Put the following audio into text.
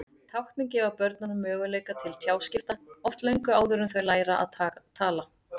Táknin gefa börnunum möguleika til tjáskipta, oft löngu áður en þau læra að tala.